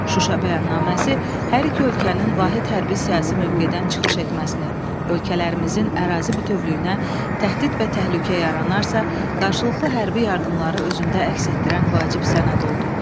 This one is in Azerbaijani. Şuşa bəyannaməsi hər iki ölkənin vahid hərbi siyasi mövqedən çıxış etməsini, ölkələrimizin ərazi bütövlüyünə təhdid və təhlükə yaranarsa, qarşılıqlı hərbi yardımları özündə əks etdirən vacib sənəd oldu.